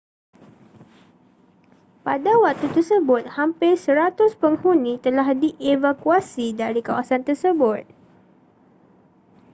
pada waktu tersebut hampir 100 penghuni telah dievakuasi dari kawasan tersebut